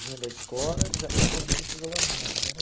vinha da escola, já ia correndo para jogar bola. Era